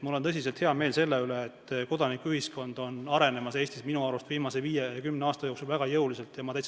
Mul on tõsiselt hea meel selle üle, et kodanikuühiskond on Eestis minu arust viimase viie või kümne aasta jooksul väga jõuliselt arenenud.